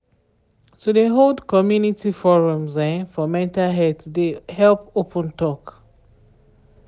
to de hold community forums um for mental health de help open talk.